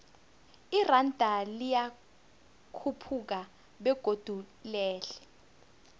iranda liyakhuphuka begodu lehle